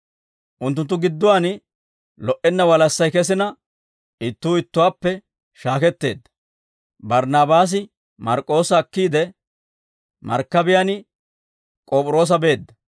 Unttunttu gidduwaan lo"enna walassay kesina, ittuu ittuwaappe shaaketteedda; Barnaabaasi Mark'k'oossa akkiide, markkabiyaan K'op'iroosa beedda.